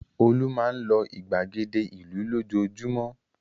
Olú máa ń lọ ìgbàgede ìlú lójoojúmọ́.